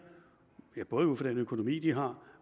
både ud fra den økonomi de har